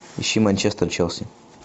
ищи манчестер челси